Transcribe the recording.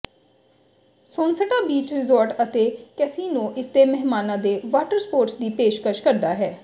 Sonesta beach resort ਅਤੇ casino ਇਸਦੇ ਮਹਿਮਾਨਾਂ ਦੇ ਵਾਟਰ ਸਪੋਰਟਸ ਦੀ ਪੇਸ਼ਕਸ਼ ਕਰਦਾ ਹੈ